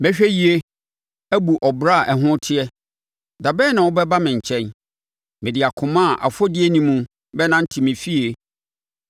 Mɛhwɛ yie abu ɔbra a ɛho teɛ. Dabɛn na wobɛba me nkyɛn? Mede akoma a afɔdie nni mu bɛnante me fie.